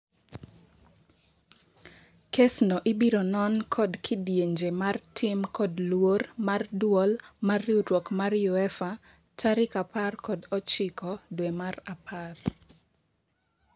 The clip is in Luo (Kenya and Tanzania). Kesno ibironon kod kidienje mar tim kod luor mar duol mar riuruok mar UEFA tarik apar kod ochiko dwee mar apar.